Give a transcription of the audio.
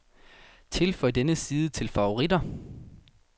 Tilføj denne side til favoritter.